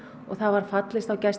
gæsluvarðhaldið